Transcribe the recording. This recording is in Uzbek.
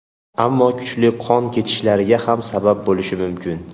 Ammo kuchli qon ketishlarga ham sabab bo‘lishi mumkin.